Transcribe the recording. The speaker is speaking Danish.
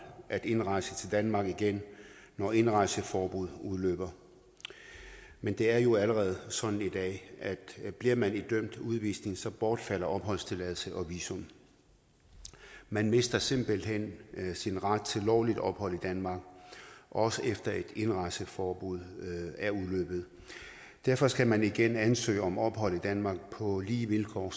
at indrejse til danmark igen når indrejseforbuddet udløber men det er jo allerede sådan i dag at bliver man idømt en udvisning så bortfalder opholdstilladelse og visum man mister simpelt hen sin ret til lovligt ophold i danmark også efter et indrejseforbud er udløbet derfor skal man igen ansøge om ophold i danmark på lige vilkår